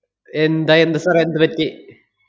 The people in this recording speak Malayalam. എന്താ എന്താ sir ഏ എന്തു പറ്റി?